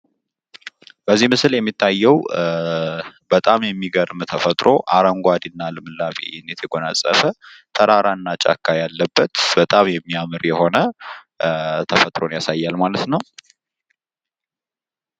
በዚህ ምስል የሚታየው በጣም የሚገርም ተፈጥሮ አረንጓዴና ልምላሜ የተጎናጸፈ ተራራና ጫካ ያለበት በጣም የሚያምር የሆነ ተፈጥሮን ያሳያል ማለት ነው።